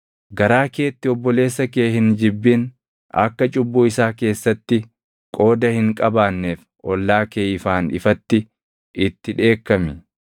“ ‘Garaa keetti obboleessa kee hin jibbin; akka cubbuu isaa keessatti qooda hin qabaanneef ollaa kee ifaan ifatti itti dheekkami.